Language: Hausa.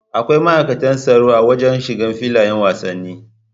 Akwai ma'aikatan tsaro a wajan shiga filayan wasanni